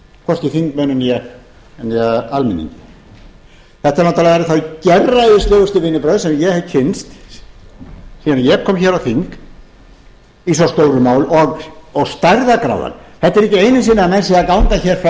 hvorki þingmönnum né almenningi þetta eru náttúrlega þau gerræðislegustu vinnubrögð sem ég hef kynnst síðan ég kom hér á þing í svo stóru máli stæðarðargráðan þetta er ekki einu sinni að menn séu að ganga hér frá